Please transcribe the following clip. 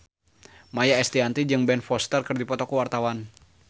Maia Estianty jeung Ben Foster keur dipoto ku wartawan